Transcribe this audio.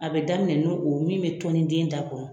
A bɛ daminɛ n'o o min bɛ tɔnin den da kɔnɔ.